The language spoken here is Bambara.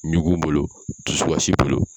Ɲugun bolo, dusukasi bolo